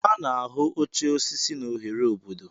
A na-ahụ oche osisi n'ohere obodo.